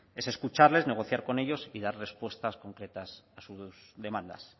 es escucharles negociar con ellos y las respuestas concretas a sus demandas